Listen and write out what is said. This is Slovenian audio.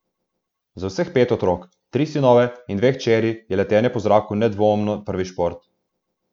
Za vseh pet otrok, tri sinove in dve hčeri, je letenje po zraku nedvomno prvi šport.